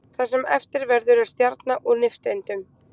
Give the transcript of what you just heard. Það sem eftir verður er stjarna úr nifteindum.